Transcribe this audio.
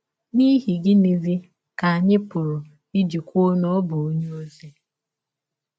N’ihi gịnịzi ka anyị pụrụ iji kwụọ na ọ bụ ọnye ọzi ọzi?